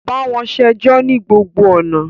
Bawọn ṣejọ ni gbogbo ọna!